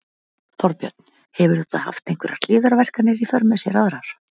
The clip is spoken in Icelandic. Þorbjörn: Hefur þetta haft einhverjar hliðarverkanir í för með sér aðrar?